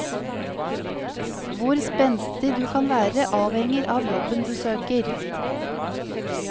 Hvor spenstig du kan være avhenger av jobben du søker.